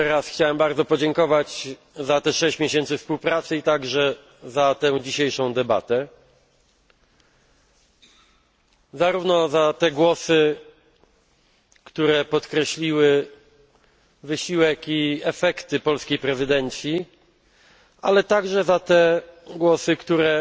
Jeszcze raz chciałem bardzo podziękować za 6 miesięcy współpracy i także za tę dzisiejszą debatę, zarówno za te głosy, które podkreśliły wysiłek i efekty polskiej prezydencji, ale także za głosy, które